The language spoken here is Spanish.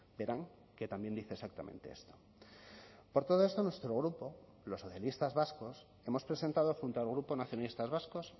verán que también dice exactamente esto por todo esto nuestro grupo los socialistas vascos hemos presentado junto al grupo nacionalistas vascos